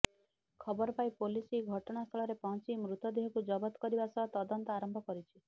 ଖବର ପାଇ ପୋଲିସ ଘଟଣାସ୍ଥଳରେ ପହଞ୍ଚି ମୃତଦେହକୁ ଜବତ କରିବା ସହ ତଦନ୍ତ ଆରମ୍ଭ କରିଛି